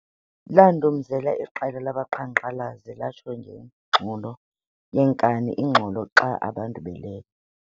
Landumzela iqela labaqhankqalazi latsho ngengxolo yekani ingxolo xa abantu belele